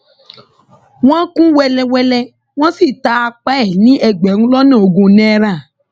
wọn kùn ún wẹlẹwẹlẹ wọn sì ta apá ẹ ní ẹgbẹrún lọnà ogún náírà